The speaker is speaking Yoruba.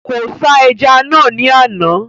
Kò ṣá ẹja naa ni àná